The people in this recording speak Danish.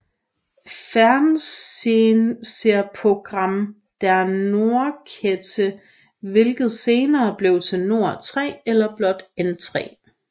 Fernsehprogramm der Nordkette hvilket senere blev til Nord 3 eller blot N3